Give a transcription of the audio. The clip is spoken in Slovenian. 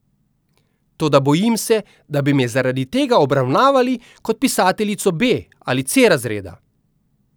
Toda bojim se, da bi me zaradi tega obravnavali kot pisateljico B ali C razreda.